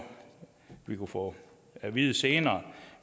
vi kunne få at vide senere